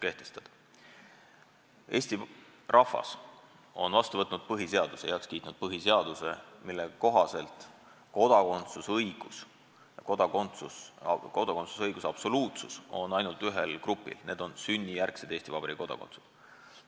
Eesti rahvas on vastu võtnud, heaks kiitnud põhiseaduse, mille kohaselt kodakondsusõigus ja kodakondsusõiguse absoluutsus on ainult ühel grupil, need on sünnijärgsed Eesti Vabariigi kodanikud.